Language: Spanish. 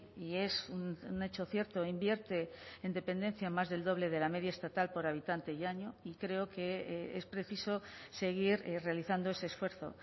y es un hecho cierto invierte en dependencia más del doble de la media estatal por habitante y año y creo que es preciso seguir realizando ese esfuerzo